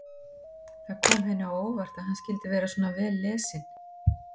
Það kom henni á óvart að hann skyldi vera svona vel lesinn.